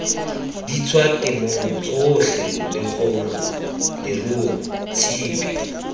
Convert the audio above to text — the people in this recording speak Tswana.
ditswatemong tsotlhe lekgong leruo tshipi